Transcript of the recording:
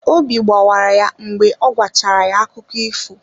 Obi gbawara ya mgbe ọ gwachara ya akụkọ ifo.